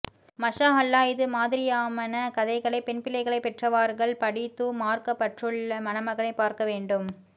மஸாஅல்லாஹ் இது மாதிரியாமன கதைகளை பெண்பிள்ளைகளை பெற்றவார்கள் படீத்தூ மார்க்கப்பற்றுள ்ள மணமகனை பார்க்க வேண்டும்